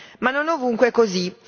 Ma non è ovunque così.